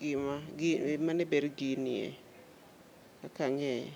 gima gi mane ber ginie, kaka ang'eye.